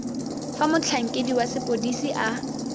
fa motlhankedi wa sepodisi a